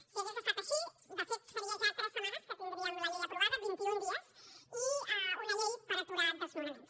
si hagués estat així de fet faria ja tres setmanes que tindríem la llei aprovada vint i un dies i una llei per aturar desnonaments